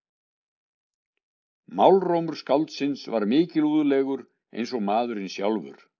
Málrómur skáldsins var mikilúðlegur eins og maðurinn sjálfur.